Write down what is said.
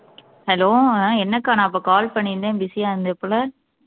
hello ah என்னக்கா நான் இப்ப call பண்ணிருந்தேன் busy ஆ இருந்தது போல